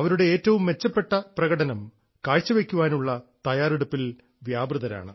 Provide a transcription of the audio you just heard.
അവരുടെ ഏറ്റവും മെച്ചപ്പെട്ട പ്രകടനം കാഴ്ചവെയ്ക്കാനുള്ള തയ്യാറെടുപ്പിൽ വ്യാപൃതരാണ്